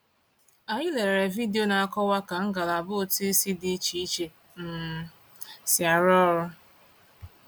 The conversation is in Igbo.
Anyị lelere vidiyo na-akọwa ka ngalaba ụtụisi dị iche iche um si arụ ọrụ.